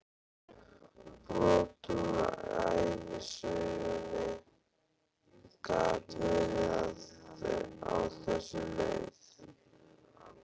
Brot úr ævisögunni gat verið á þessa leið